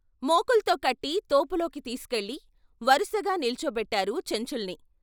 మోకుల్తో కట్టి తోపులోకి తీసుకెళ్ళి వరుసగా నిలుచోబెట్టారు చెంచుల్ని.